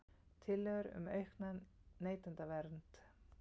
Tillögur um aukna neytendavernd